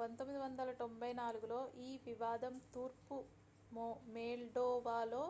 1994 లో ఈ వివాదం తూర్పు మోల్డోవాలో